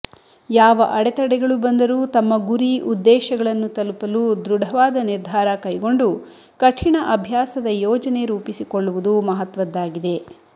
ಯಾವ ಅಡೆತಡೆಗಳು ಬಂದರೂ ತಮ್ಮ ಗುರಿ ಉದ್ದೇಶಗಳನ್ನು ತಲುಪಲು ದೃಢವಾದ ನಿರ್ಧಾರ ಕೈಗೊಂಡು ಕಠಿಣ ಅಭ್ಯಾಸದ ಯೋಜನೆ ರೂಪಿಸಿಕೊಳ್ಳುವುದು ಮಹತ್ವದ್ದಾಗಿದೆ